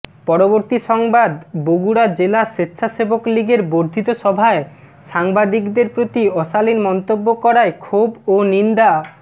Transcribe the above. পরবর্তী সংবাদ বগুড়া জেলা স্বেচ্ছাসেবকলীগের বর্ধিত সভায় সাংবাদিকদের প্রতি অশালীন মন্তব্য করায় ক্ষোভ ও নিন্দা